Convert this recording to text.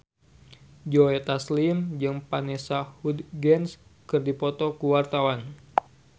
Joe Taslim jeung Vanessa Hudgens keur dipoto ku wartawan